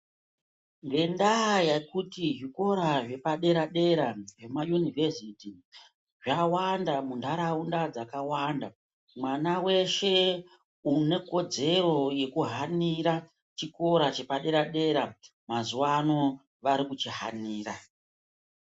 Ngendaa yekuti zvikora zvepadera dera zvemayunivhesiti zvawanda muntaraunda dzakawanda mwana weshe une kodzero yekuhanira chikora chepadera dera mazuwa ano vari kuchihanira.